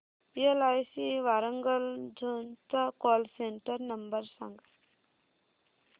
LIC Warangal zone चा call centre number सांग